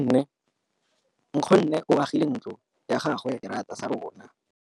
Nkgonne o agile ntlo ya gagwe ka fa morago ga seterata sa rona.